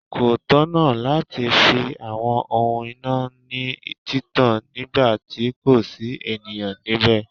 Kò tọ̀nà láti fi àwọn ohun iná ní títàn nígbà tí kò sí ènìyàn nibẹ.